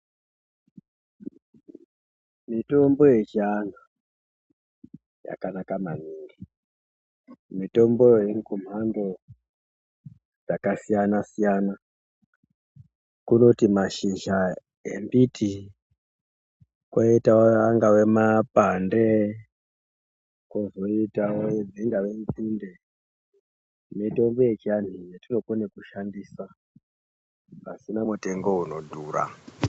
Mitombo yechiantu yakanaka maningi mitomboyo irikumhando dzakasiyana siyana kunoti mashizha embiti koitawo angave mapande kozoitawo dzingava nzinde mitombo yechiantu yetinokona kushandisa pasina mutengo inodhura.